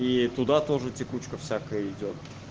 и туда тоже текучка всякая идёт